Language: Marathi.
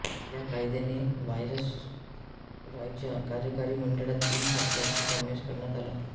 या कायद्याने व्हाईसरॉयच्या कार्यकारी मंडळात तीन भारतीयांचा समावेश करण्यात आला